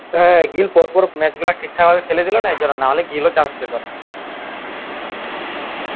হ্যাঁ গিল পরপর match গুলা ঠিকঠাক ভাবে খেলেছিল না এজন্য নাহলে গিলও chance পেত না